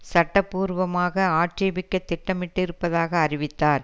சட்ட பூர்வமாக ஆட்சேபிக்க திட்டமிட்டிருப்பதாக அறிவித்தார்